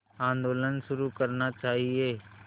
आंदोलन शुरू करना चाहिए